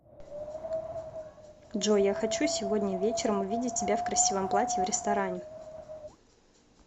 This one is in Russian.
джой я хочу сегодня вечером увидеть тебя в красивом платье в ресторане